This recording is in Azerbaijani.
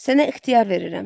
Sənə ixtiyar verirəm.